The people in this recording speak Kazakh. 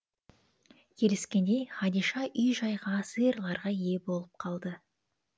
келіскендей хадиша үй жайға сиырларға ие болып қалды